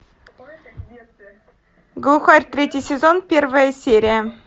глухарь третий сезон первая серия